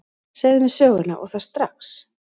Segðu mér söguna, og það strax.